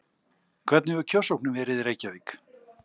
Hvernig hefur kjörsóknin verið í Reykjavík?